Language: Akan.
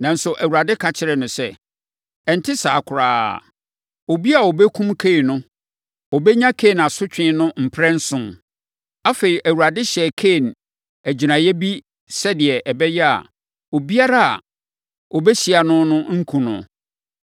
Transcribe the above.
Nanso, Awurade ka kyerɛɛ no sɛ, “Ɛnte saa koraa! Obiara a ɔbɛkum Kain no bɛnya Kain asotwe no mprɛnson.” Afei, Awurade hyɛɛ Kain agyiraeɛ bi sɛdeɛ ɛbɛyɛ a, obiara a ɔbɛhyia no no renkum no.